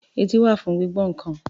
Etí wà fún gbígbọ́ nǹkan.